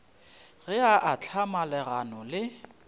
ge a ahlama legano le